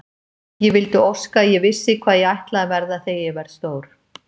Ég vildi óska að ég vissi hvað ég ætlaði að verða þegar ég verð stór.